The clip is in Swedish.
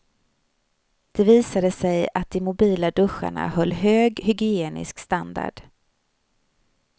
Det visade sig att de mobila duscharna höll hög hygienisk standard.